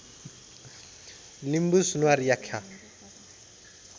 Limbu Sunuwar Yakkha